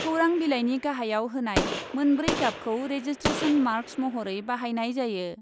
खौरां बिलाइनि गाहाइयाव होनाय मोनब्रै गाबखौ रेजिस्ट्रेसन मार्क्स महरै बाहायनाय जायो।